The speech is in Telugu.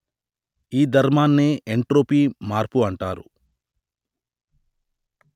ఈ ధర్మాన్నే ఎంట్రోపీ మార్పు అంటారు